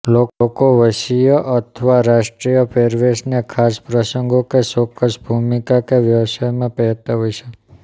લોકો વંશીય અથવા રાષ્ટ્રીય પહેરવેશને ખાસ પ્રસંગો કે ચોક્કસ ભૂમિકા કે વ્યવસાયમાં પહેરતાં હોય છે